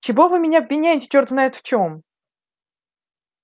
чего вы меня обвиняете чёрт знает в чём